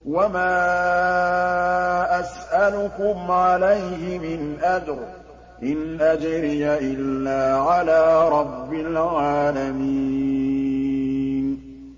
وَمَا أَسْأَلُكُمْ عَلَيْهِ مِنْ أَجْرٍ ۖ إِنْ أَجْرِيَ إِلَّا عَلَىٰ رَبِّ الْعَالَمِينَ